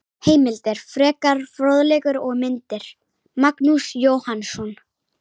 Heimildir, frekari fróðleikur og myndir: Magnús Jóhannsson.